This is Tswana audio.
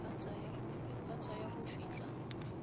go ka tsaya go fitlha